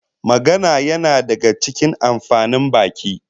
Magana yana daga cikin amfanin baki